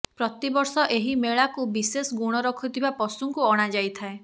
ପ୍ରତି ବର୍ଷ ଏହି ମେଳାକୁ ବିଶେଷ ଗୁଣ ରଖୁଥିବା ପଶୁଙ୍କୁ ଅଣାଯାଇଥାଏ